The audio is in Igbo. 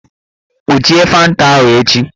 Kpuchie fanta ahụ echi